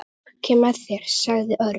Ég kem með þér sagði Örn.